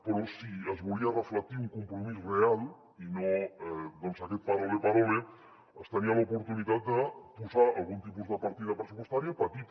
però si es volia reflectir un compromís real i no aquest parole parole es tenia l’oportunitat de posar algun tipus de partida pressupostària petita